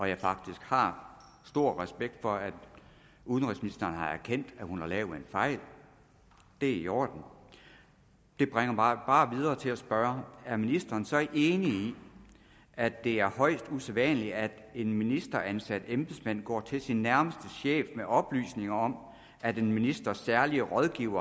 jeg faktisk har stor respekt for at udenrigsministeren har erkendt at hun har lavet en fejl det er i orden det bringer mig bare videre til at spørge er ministeren så ikke enig i at det er højst usædvanligt at en ministeransat embedsmand går til sin nærmeste chef med oplysninger om at en ministers særlige rådgiver